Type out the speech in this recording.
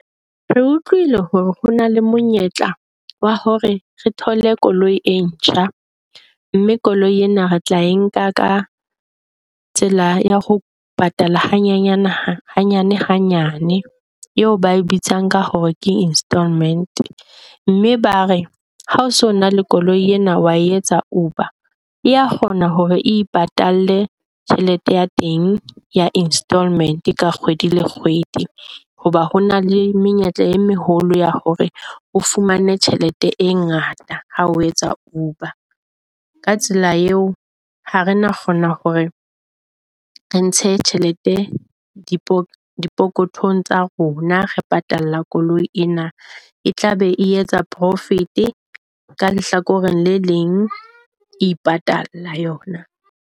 Re utlwile hore ho na le monyetla wa hore re thole koloi e ntjha mme koloi ena re tla e nka ka tsela ya ho patala hanyane hanyane hanyane, eo ba e bitsang ka hore ke installment. Mme ba re ha o so na le koloi ena. Wa etsa Uber ya kgona hore e patale tjhelete ya teng ya installment ka kgwedi le kgwedi. Hoba ho na le menyetla e meholo ya hore o fumane tjhelete e ngata ha o etsa Uber. Ka tsela eo, ha re na kgona hore re ntshe tjhelete di phokothong tsa rona. Re patala koloi ena e tlabe e etsa profit ka lehlakoreng le leng, e ipatalla yona.